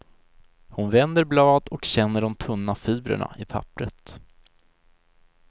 Hon vänder blad och känner de tunna fibrerna i pappret.